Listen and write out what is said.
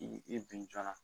I bin joona